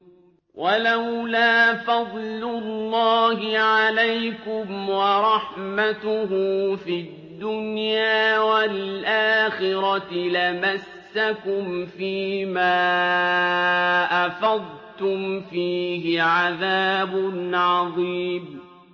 وَلَوْلَا فَضْلُ اللَّهِ عَلَيْكُمْ وَرَحْمَتُهُ فِي الدُّنْيَا وَالْآخِرَةِ لَمَسَّكُمْ فِي مَا أَفَضْتُمْ فِيهِ عَذَابٌ عَظِيمٌ